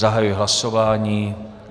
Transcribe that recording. Zahajuji hlasování.